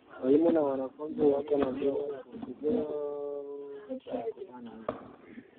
Walimu na wanafunzi wako na mbinu na siku zao za kupanda mti